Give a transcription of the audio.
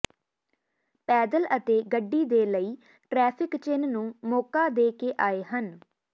ਪੈਦਲ ਅਤੇ ਗੱਡੀ ਦੇ ਲਈ ਟ੍ਰੈਫਿਕ ਚਿੰਨ੍ਹ ਨੂੰ ਮੌਕਾ ਦੇ ਕੇ ਆਏ ਹਨ